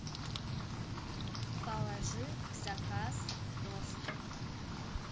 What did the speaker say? положи в заказ тост